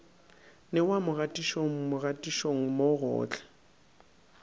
newa mogaditšong mogaditšong mo gohle